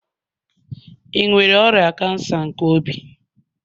Ị nwere ọrịa kansa nke obi?